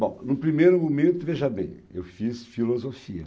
Bom, no primeiro momento, veja bem, eu fiz filosofia.